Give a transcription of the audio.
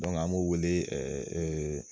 an b'o wele